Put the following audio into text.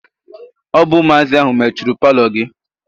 Ọ bụ ụmụazị ahụ mechuru paalọ gị.